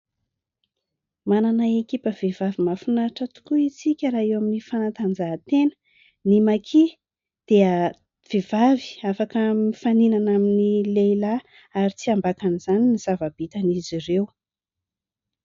manana ekipa vehivavy mafinaitra tokoa isika raha eo amin'ny fanantanjahatena ny makia dia vehivavy afaka mifaninana amin'ny lehilahy ary tsy ambakan izany ny zava-bitana izy ireo